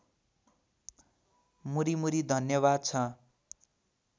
मुरीमुरी धन्यवाद छ